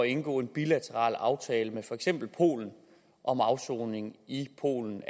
indgå en bilateral aftale med for eksempel polen om afsoning i polen